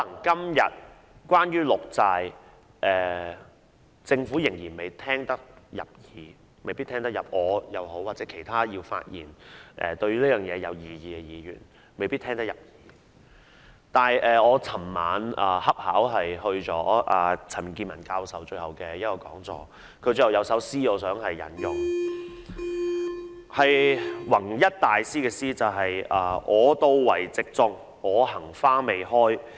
對於綠色債券，或許政府今天對我或其他對綠色債券有異議的議員的意見仍未聽得入耳，但我昨晚恰巧出席了陳健民教授的最後一堂課，我想引用他在結語時提到的一首出自弘一大師的詩："我到為植種，我行花未開。